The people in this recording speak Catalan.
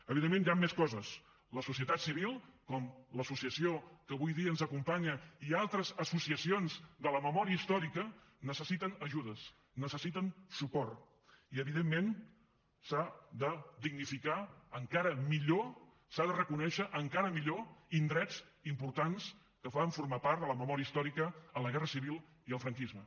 evidentment hi han més coses la societat civil com l’associació que avui dia ens acompanya i altres associacions de la memòria històrica necessiten ajudes necessiten suport i evidentment s’ha de dignificar encara millor s’ha de reconèixer encara millor indrets importants que van formar part de la memòria històrica a la guerra civil i al franquisme